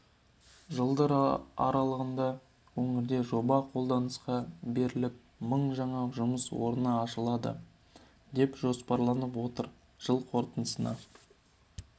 жылдар аралығында өңірде жоба қолданысқа беріліп мың жаңа жұмыс орны ашылады деп жоспарланып отыр жыл қорытындысына